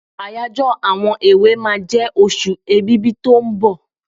Àyájọ́ àwọn èwe máa jẹ oṣù Èbìbí tó ń bọ̀.